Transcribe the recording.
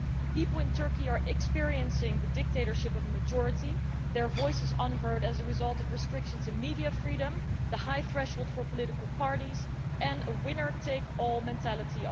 The people in Turkey are experiencing the dictatorship of a majority, their voices unheard as a result of restrictions in media freedom, the high threshold for political parties and the government's winner takes all mentality.